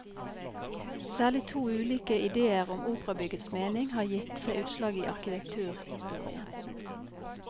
Særlig to ulike idéer om operabyggets mening har gitt seg utslag i arkitekturhistorien.